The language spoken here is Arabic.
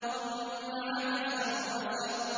ثُمَّ عَبَسَ وَبَسَرَ